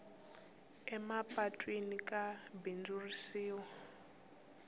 emapatwini ka bindzurisiwa